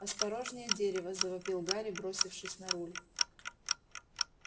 осторожнее дерево завопил гарри бросившись на руль